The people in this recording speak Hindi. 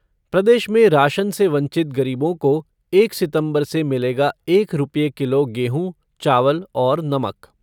प्रदेश में राशन से वंचित गरीबों को एक सितम्बर से मिलेगा एक रुपये किलो गेहूँ, चावल और नमक